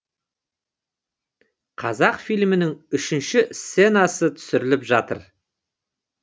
қазақ фильмнің үшінші сценасы түсіріліп жатыр